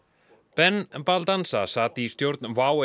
ben sat í stjórn WOW